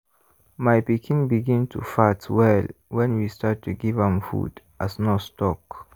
my pikin begin to fat well when we start to give am food as nurse talk.